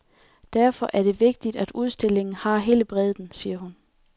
Derfor er det vigtigt, at udstillingen har hele bredden, siger hun.